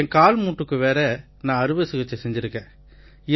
என் கால்மூட்டுக்கு வேற நான் அறுவை சிகிச்சை செஞ்சிருக்கேன்